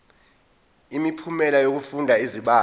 imiphumela yokufunda izibalo